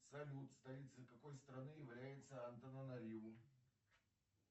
салют столицей какой страны является антананариву